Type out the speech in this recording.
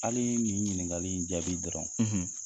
Hali nin ɲiningali in jaabi dɔrɔn,